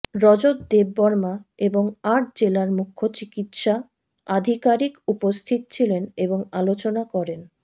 রজত দেববর্মা এবং আট জেলার মুখ্য চিকিৎসা আধিকারিক উপস্থিত ছিলেন এবং আলোচনা করেন